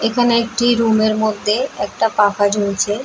এখানে একটি রুম -এর মধ্যে একটা পাখা ঝুলছে ।